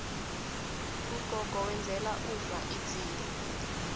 ugogo wenzela umma idzila